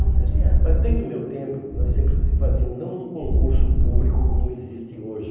Não podia... Mas desde o meu tempo, nós sempre fazíamos não um concurso público como existe hoje.